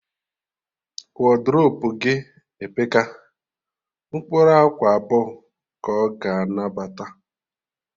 Wodrobu gị epeka, mkpụrụ akwa abụọ ka ọ ga anabata